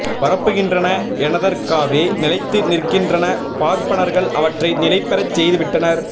பரப்புகின்றன எனதற்காவே நிலைத்து நிற்கின்றன பார்பனர்கள் அவற்றை நிலை பெறச் செய்து விட்டனர்